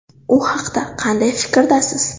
U haqida qanday fikrdasiz?